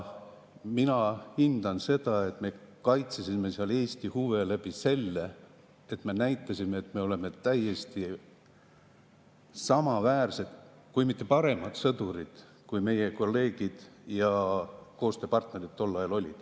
Mina hindan seda, et me kaitsesime seal Eesti huve seeläbi, et me näitasime, et me oleme täiesti samaväärsed, kui mitte paremad sõdurid, kui meie kolleegid ja koostööpartnerid tol ajal olid.